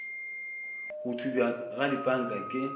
go thubja ga dipanka ke